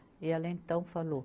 E ela então falou,